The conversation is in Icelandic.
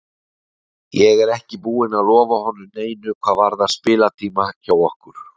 Ég er ekki búinn að lofa honum neinu hvað varðar spilatíma hjá okkur.